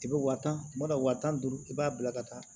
I bɛ wa tan kuma dɔ wa tan ni duuru i b'a bila ka taa